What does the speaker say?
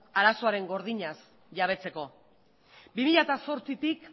arazoaren gordinaz jabetzeko bi mila zortzitik